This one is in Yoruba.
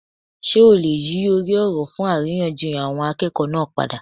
Sé o lè yí orí òrò fún àríyànjiyàn àwọn akéèkòó náà padà?